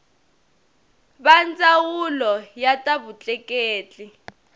va ndzawulo ya ta vutleketli